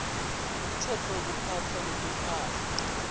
umtsetfo wekuphatfwa kwetimphahla